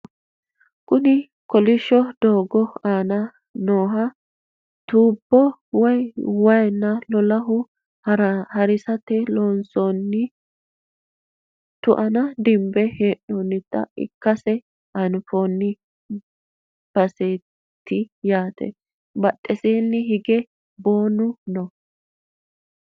kuni kolishsho doogo aana nooha tuubbo woye waanna lolahe harisate loonsoonni tu"ana dinbe hee'noonnita ikkase anfanni baseeti yaate badheenni hige boonu no